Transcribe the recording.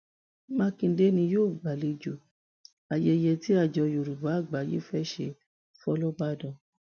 mákindé ni yóò gbàlejò ayẹyẹ tí àjọ yorùbá àgbáyé fẹẹ ṣe fọlọbàdan